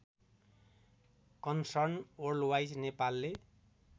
concern worldwide नेपालले